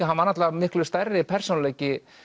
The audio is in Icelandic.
hann var náttúrulega miklu stærri persónuleiki